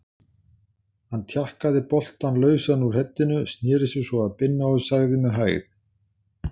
Hann tjakkaði boltann lausan úr heddinu, sneri sér svo að Binna og sagði með hægð